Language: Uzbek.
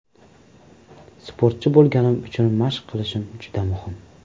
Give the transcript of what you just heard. Sportchi bo‘lganim uchun mashq qilishim juda muhim.